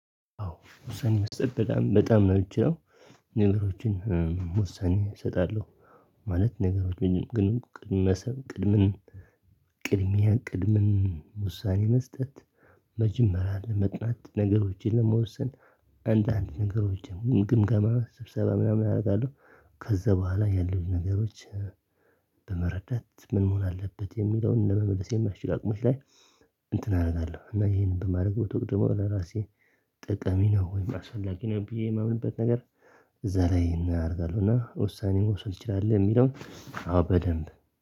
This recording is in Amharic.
አዎ ውሳኔ መስጠት በጣም በጣም ነው የምትችለው ነገሮችን ውሳኔ እሰጣለሁ። ማለት ነገሮች እኔም ግን ቅድመ ሰብ ቅድመ ቅድሚያ ቅድመ ውሳኔ መስጠት። መጀመሪያ ለመጥናት ነገሮችን ለመወሰን አንዳንድ ነገሮችን ግምገማ ስብሰባ ምናምን አደርጋለሁ። ከዛ በኋላ ያለው ነገሮች በመረዳት ምን መሆን አለበት የሚለውን ለመመለስ የማስችል አቅም ላይ። እንትን አደርጋለሁ እና ይሄንን በማድረግ በተቀደመው ለራሴ ጠቀሚ ነው ወይም አስፈላጊ ነው ብዬ የማምንበት ነገር እዛ ላይ እናደርጋለሁ እና ውሳኔን መውሰድ እንችላለን የሚለውን አዎ በደንብ